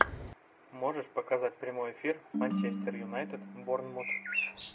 можешь показать прямой эфир манчестер юнайтед борнмут